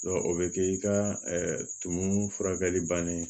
o bɛ kɛ i ka tumu furakɛli bannen